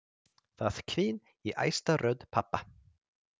Það hvín í æstri rödd pabba.